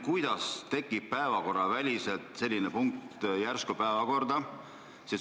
Kuidas tekib järsku päevakorda päevakorraväline punkt?